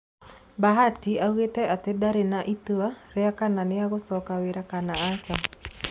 Bhatia oigire atĩ ndaarĩ na itua rĩa kana nĩ egũcoka wĩra-inĩ kana aca".